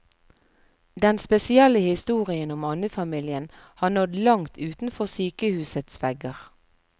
Den spesielle historien om andefamilien har nådd langt utenfor sykehusets vegger.